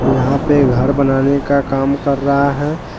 यहां पे घर बनाने का काम कर रहा है।